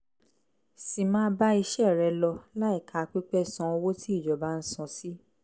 sì máa bá iṣẹ́ rẹ lọ láìka pípẹ́ san owó tí ìjọba ń san sí